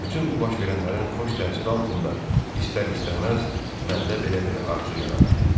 Bütün bu baş verənlərin xoş təsiri altında istər-istəməz məndə belə bir arzu yarandı.